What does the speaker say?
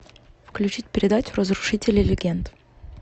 включить передачу разрушители легенд